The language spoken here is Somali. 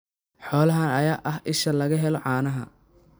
Xoolahan ayaa ah isha laga helo caanaha.